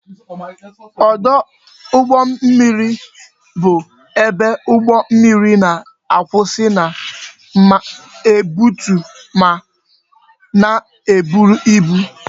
Ọdụ ụgbọ mmiri bụ ebe ụgbọ mmiri na-akwụsị na-ebutu ma na-eburu ibu